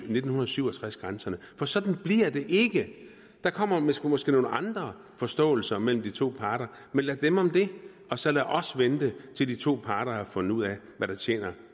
nitten syv og tres grænserne for sådan bliver det ikke der kommer måske måske nogle andre forståelser mellem de to parter men lad dem om det og så lad os vente til de to parter har fundet ud af hvad der tjener